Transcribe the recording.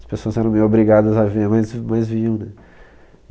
As pessoas eram meio obrigadas a ver, mas v mas viam, né?